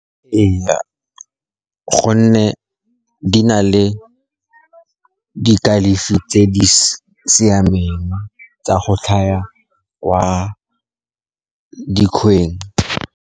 Ee, gonne di na le dikalafi tse di siameng tsa go kwa dikgweng.